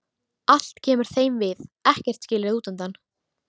Allt kemur þeim við, ekkert er skilið útundan.